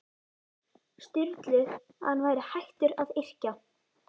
Sturlu að hann væri hættur að yrkja.